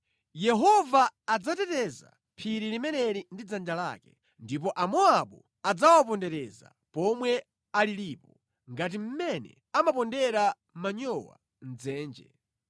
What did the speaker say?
Yehova adzateteza phiri limeneli ndi dzanja lake; ndipo Amowabu adzawapondereza pomwe alilipo, ngati mmene amapondera manyowa mʼdzenje.